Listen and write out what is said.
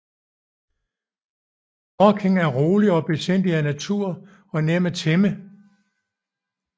Dorking er rolig og besindig af natur og nem at tæmme